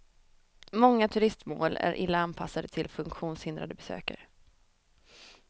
Många turistmål är illa anpassade till funktionshindrade besökare.